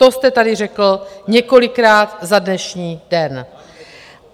To jste tady řekl několikrát za dnešní den.